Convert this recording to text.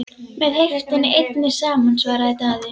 Með heiftinni einni saman, svaraði Daði.